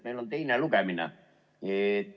Meil on teine lugemine.